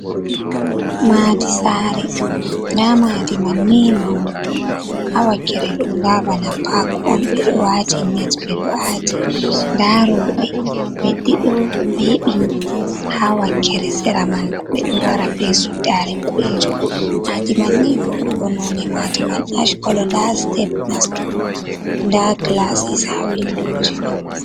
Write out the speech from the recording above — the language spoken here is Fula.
Maɗi sare, nɗa maɗi man ni maunugo. Ha wakkere ɗo nɗa ɓana pak on. Ɓe ɗo wati net, ɓ ɗo ati. Nɗa roɓe ɓe ɗiɗo ɓe ɓingi, ha wakkere sera man ɓa ɓe ɗo wara ɓe suɗɗare ɓoɗejum. Maɗi man ni veuɗugo. None maɗi man Ash kolo. Nɗa setep nastugo, nɗa gilasis ha winɗoje man.